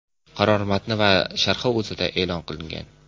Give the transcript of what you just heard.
Qaror matni va sharhi O‘zAda e’lon qilingan .